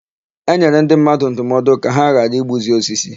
E nyere ndị mmadụ ndụmọdụ ka ha ghara igbuzi osisi.